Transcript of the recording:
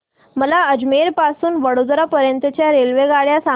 मला अजमेर पासून तर वडोदरा पर्यंत च्या रेल्वेगाड्या सांगा